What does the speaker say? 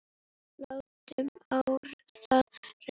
Látum á það reyna!